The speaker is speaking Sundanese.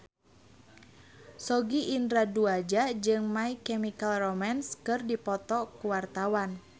Sogi Indra Duaja jeung My Chemical Romance keur dipoto ku wartawan